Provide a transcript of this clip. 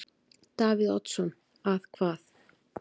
Davíð Oddsson: Að hvað?